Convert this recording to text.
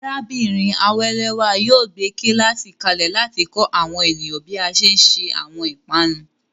Arábìnrin Awelewa yóò gbé kíláàsì kalẹ̀ láti kọ́ àwọn ènìyàn bí a ṣe ń se àwọn ìpanu.